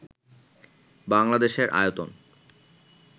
বাংলাদেশের আয়তন